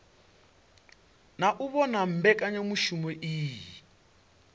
na u vhona mbekanyamushumo iyi